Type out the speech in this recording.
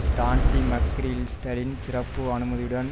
Stanley மக்கிரிஸ்டலின் சிறப்பு அனுமதியுடன்